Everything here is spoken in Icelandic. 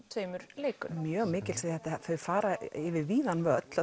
tveimur leikurum mjög mikils því að þau fara yfir víðan völl